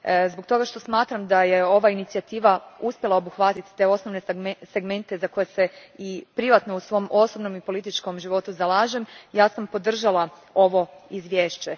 Zbog toga što smatram da je ova inicijativa uspjela obuhvatiti te osnovne segmente za koje se i privatno u svom osobnom i političkom životu zalažem sam podržala ovo izvješće.